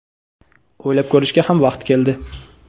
o‘ylab ko‘rishga ham vaqt keldi.